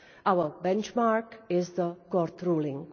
Our benchmark is the court ruling.